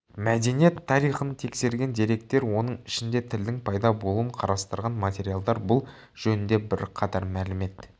мәдениет тарихын тексерген деректер оның ішінде тілдің пайда болуын қарастырған материалдар бұл жөнінде бірқатар мәлімет